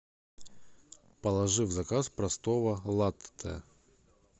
положи в заказ простого латте